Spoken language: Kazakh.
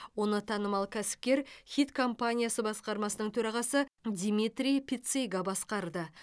оны танымал кәсіпкер ніт компаниясы басқармасының төрағасы димитрий пицига басқарды